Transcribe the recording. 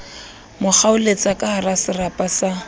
mo kgaoletsa kahara serapa sa